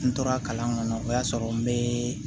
N tora kalan kɔnɔ o y'a sɔrɔ n be